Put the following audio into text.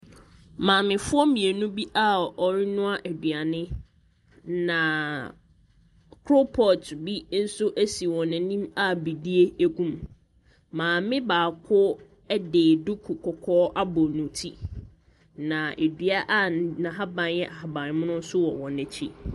Maamefoɔ mmienu bi a wɔrenoa aduane, na koropɔɔto bi nso si wɔn anim a bidie gu mu. Maame baako de duku kɔkɔɔ abɔ ne ti, na dua n’ahaban yɛ ahabanmono nso wɔ wɔn akyi.